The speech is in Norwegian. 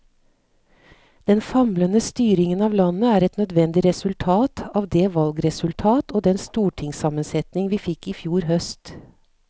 Den famlende styringen av landet er et nødvendig resultat av det valgresultat og den stortingssammensetning vi fikk i fjor høst.